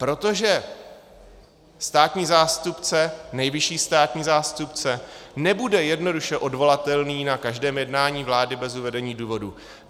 Protože státní zástupce, nejvyšší státní zástupce, nebude jednoduše odvolatelný na každém jednání vlády bez uvedení důvodu.